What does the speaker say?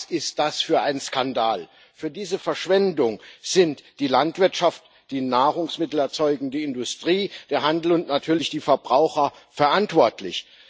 Was ist das für ein Skandal! Für diese Verschwendung sind die Landwirtschaft, die nahrungsmittelerzeugende Industrie, der Handel und natürlich die Verbraucher verantwortlich.